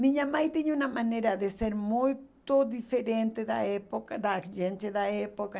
Minha mãe tinha uma maneira de ser muito diferente da época, da gente da época.